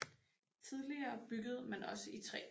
Tidligere byggede man også i træ